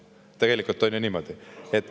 Tegelikult on ju niimoodi.